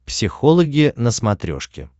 психологи на смотрешке